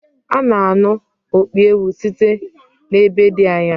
A na-anụ opi ewu site n’ebe dị anya